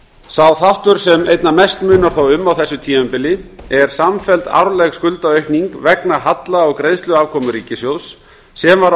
sá þáttur sem einna mest munar þó um á þessu tímabili er samfelld árleg skuldaaukning vegna halla á greiðsluafkomu ríkissjóðs sem var